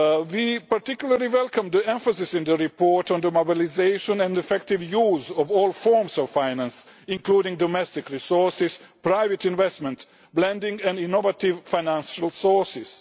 impact. We particularly welcome the emphasis in the report on the mobilisation and effective use of all forms of finance, including domestic resources, private investment, blending and innovative financial sources.